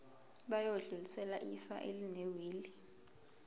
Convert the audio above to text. bayodlulisela ifa elinewili